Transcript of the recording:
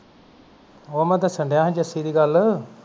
ਉਹ ਮੈ ਦਸਨ ਡਆਸੀ ਜਸੀ ਦੀ ਗਲ